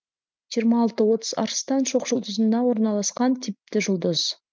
жиырма алты отыз арыстан шоқжұлдызында орналасқан типті жұлдыз